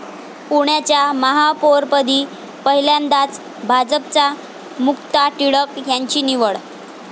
पुण्याच्या महापौरपदी पहिल्यांदाच भाजपच्या मुक्ता टिळक यांची निवड